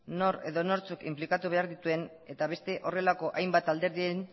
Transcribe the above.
nor edo nortzuk inplikatu behar dituen eta beste horrelako hainbat alderdiren